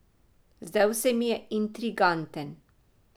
Zdel se mi je intriganten.